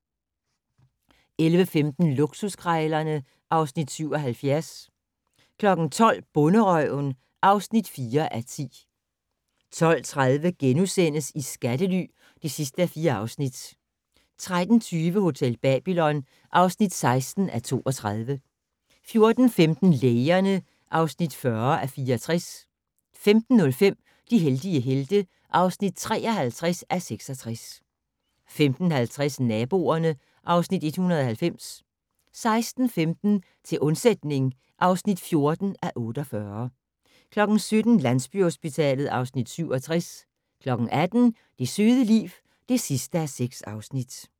11:15: Luksuskrejlerne (Afs. 77) 12:00: Bonderøven (4:10) 12:30: I skattely (4:4)* 13:20: Hotel Babylon (16:32) 14:15: Lægerne (40:64) 15:05: De heldige helte (53:66) 15:50: Naboerne (Afs. 190) 16:15: Til undsætning (14:48) 17:00: Landsbyhospitalet (Afs. 67) 18:00: Det søde liv (6:6)